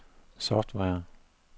software